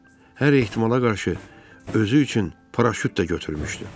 Hər ehtimala qarşı özü üçün paraşüt də götürmüşdü.